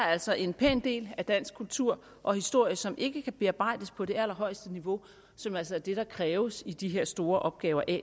altså en pæn del af dansk kultur og historie som ikke kan bearbejdes på det allerhøjeste niveau som altså er det der kræves i de her store opgaver at